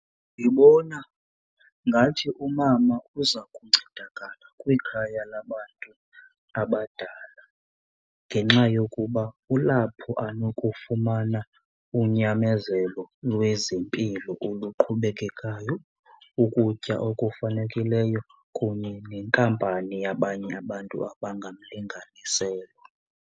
Ndibona ngathi umama uza kuncedakala kwikhaya labantu abadala ngenxa yokuba kulapho anokufumana unyamezelo lwezempilo oluqhubekekayo, ukutya okufanekileyo kunye nenkampani yabanye abantu abangabalinganiselwa.